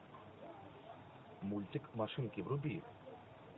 мультик машинки вруби